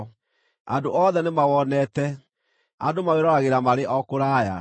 Andũ othe nĩmawonete; andũ mawĩroragĩra marĩ o kũraya.